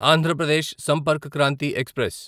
Andhra Pradesh Sampark Kranti express